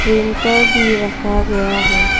Printer भी रखा गया है।